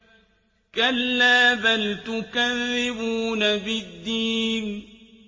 كَلَّا بَلْ تُكَذِّبُونَ بِالدِّينِ